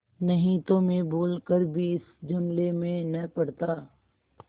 नहीं तो मैं भूल कर भी इस झमेले में न पड़ता